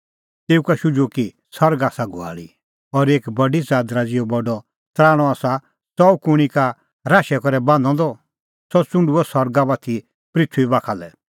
तेऊ का शुझुअ कि सरग आसा घुआल़ी और एक बडी च़ादरा ज़िहअ बडअ तराणअ आसा च़ऊ कुंणी का राशै करै बान्हअ द सह च़ुंढुअ सरगा बाती पृथूई बाखा लै